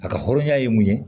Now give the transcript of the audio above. A ka hɔrɔnya ye mun ye